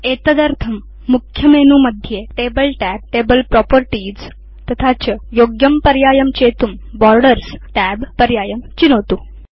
एतदर्थं मुख्यमेनुमध्ये table tab table properties तथा च योग्यं पर्यायं चेतुं बोर्डर्स् tab पर्यायं चिनोतु